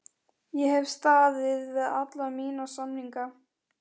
Ég hef staðið við alla mína samninga.